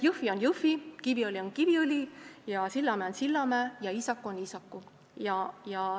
Jõhvi on Jõhvi, Kiviõli on Kiviõli, Sillamäe on Sillamäe ja Iisaku on Iisaku.